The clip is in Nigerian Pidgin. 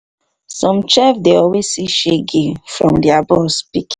some chef dey always see shege see shege from their boss pikin